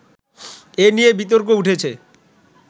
এ নিয়ে বিতর্ক উঠেছে